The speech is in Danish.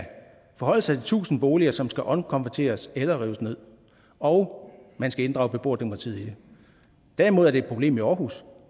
forholde sig til tusind boliger som skal omkonverteres eller rives ned og man skal inddrage beboerdemokratiet i det derimod er det et problem i aarhus